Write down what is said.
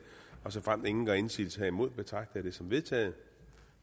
og såfremt ingen gør indsigelse herimod betragter jeg det som vedtaget